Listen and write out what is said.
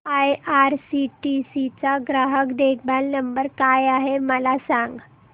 IRCTC चा ग्राहक देखभाल नंबर काय आहे मला सांग